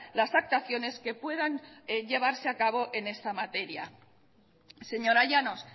las actuaciones que puedan llevarse a cabo en esta materia señora llanos